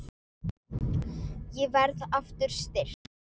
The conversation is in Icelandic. Ég verð aftur styrk.